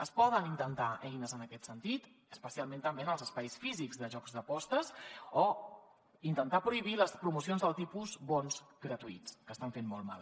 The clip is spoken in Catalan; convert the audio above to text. es poden intentar eines en aquest sentit especialment també en els espais físics de jocs d’apostes o intentar prohibir les promocions del tipus bons gratuïts que estan fent molt mal